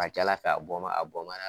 Ka ca Ala fɛ a bɔ n b'a a bɔ n b'a